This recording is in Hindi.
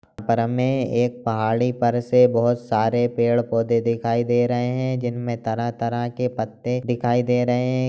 एक पहाड़ी पर से बहुत सारे पेड़-पौधे दिखाई दे रहे है जिन मे तरह तरह के पत्ते दिखाई दे रहे है।